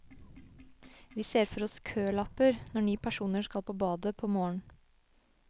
Vi ser for oss kølapper, når ni personer skal på badet på morgen.